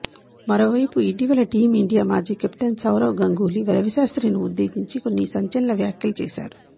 మరోవైపు ఇటీవల team India మాజీ కెప్టెన్ సౌరవ్ గంగూలీ రవిశాస్త్రి ని ఉద్దేశించి కొన్ని సంచలన వ్యాఖ్యలు చేసారు